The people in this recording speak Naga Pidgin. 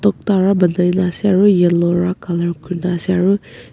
tokta bara ponaina ase aro yellow bara colour kurina ase aro.